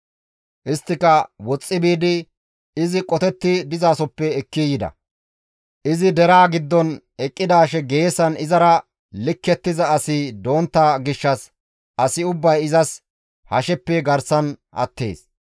Isttika woxxi biidi izi qotetti dizasoppe ekki yida; izi deraa giddon eqqidaashe geesan izara likkettiza asi dontta gishshas asi ubbay izas hasheppe garsan attees.